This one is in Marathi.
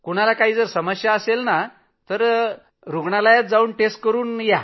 कुणाला काही समस्या असेल तर जाऊन चाचणी करून या